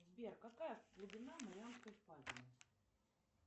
сбер какая глубина марианской впадины